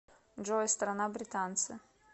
джой страна британцы